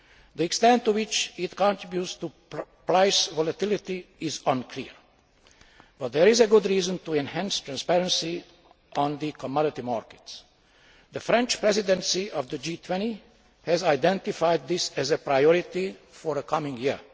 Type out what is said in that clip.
The extent to which it contributes to price volatility is unclear, but there is a good reason to enhance transparency on the commodity markets. The French Presidency of the G20 has identified this as a priority for the coming